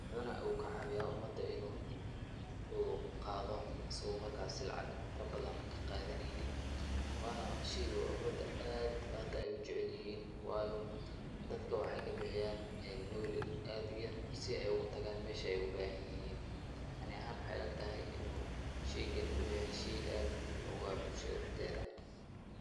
Waxuuna kacaawiyaa umada inuu qaado, asigi markaasii lacag farabadan ka qaadineynin. Waana shey umada aad hadda ay u jeclihiin, waayo dadka waxay ka bixiyaa nauli aad u yar si ay ugu tagaan meesha ay u baahan yihiin. Aniga ahaan, waxay ila tahay inuu sheygani uu yahay shey aad muhiim ugu ah bulshada dhexdeeda.